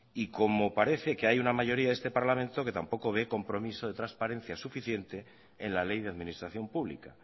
y como parece que hay una mayoría de este parlamento que tampoco ve compromiso de transparencia suficiente en la ley de administración pública